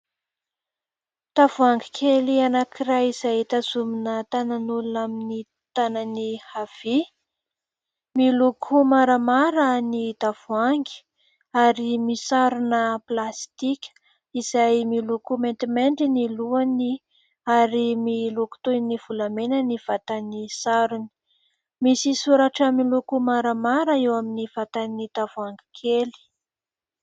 Tavoahangy kely anankiray izay tazomina tanan'olona amin'ny tanany havia. Miloko maramara ny tavoahangy ary misarona plastika izay miloko maintimainty ny lohany ary miloko toy ny volamena ny vatany sarony. Misy soratra miloko maramara eo amin'ny vatany tavoahangy kely.